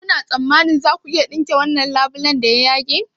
Kuna tsammanin za ku iya tsinke wannan labulen da ya yage?